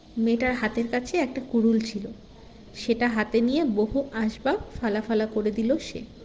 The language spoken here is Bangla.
মেয়েটার হাতের কাছে একটা কুড়ুল ছিল সেটা হাতে নিয়ে বহু আসবাব ফালাফালা করে দিলো সে